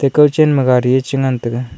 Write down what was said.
kow chen ma gari chu ngan taiga.